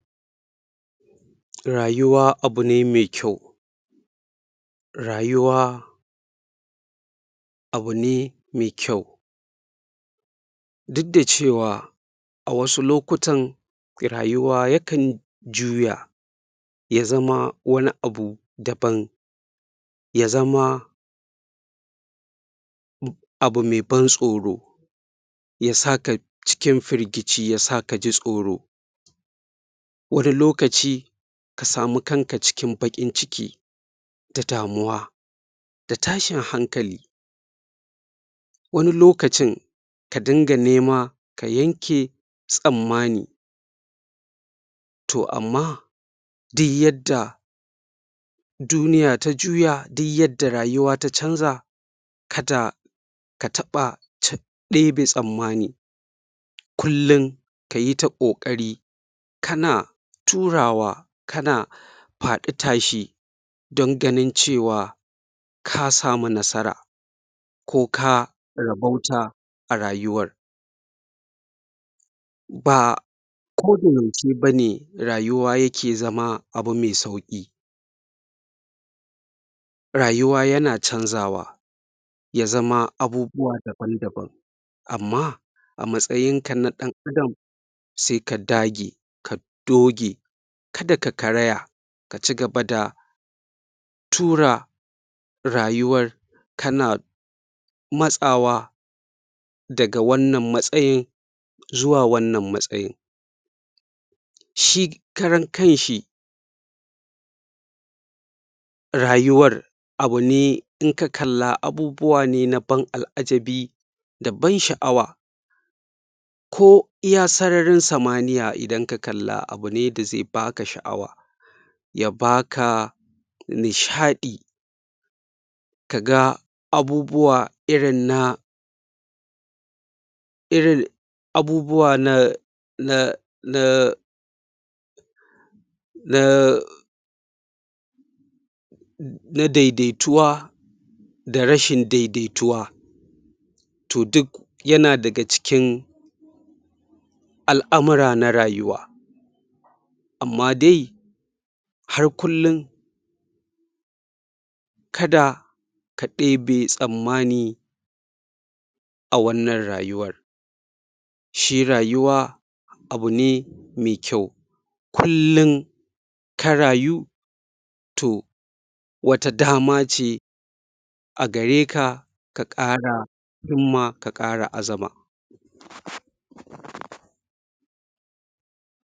Rayuwa abune mai kyau rayuwaa abune mai kyau duk da cewa a wasu lokutan rayuwa ya kan juya ya zama wani abu daban ya zama abu mai ban tsoro yasa ka cikin firgici yasa kaji tsoro wani lokaci ka samu kanka cikin baƙin ciki da damuwa da tashin hankali wani lokacin ka dunga nema ka yanke tsammani toh amma di yanda duniya ta juya di yanda rayuwa ta canza kada ka taɓa ɗebe tsammani kullin kayi ta ƙoƙari kana turawa kana faɗi tashi don ganin cewa ka samu nasara ko ka rabauta a rayuwar baa ko ce bane rayuwa yake zama abu mai sauƙi rayuwa yana canzawa ya zama abubuwa daban-daban amma a matsayinka na ɗan adam sai ka dage doge kada ka karaya ka cigaba da tura rayuwar kana matsawa daga wannan matsayin zuwa wannan matsayin shi karan kanshi rayuwar abune inka kalla abubuwa ne na ban al'ajabi da ban sha'awa ko iya sararin samaniya idan ka kalla abune da zai baka sha'awa ya baka nishaɗi kaga abubuwa irin na iril abubuwa na naa na daidaituwa da rashin daidaituwa toh duk yana daga cikin al'amura na rayuwa amma dai har kullin kada ka ɗebe tsammani a wannan rayuwar shi rayuwa abune mai kyau kullin ka rayu toh wata dama ce agare ka ka ƙara himma ka ƙara azama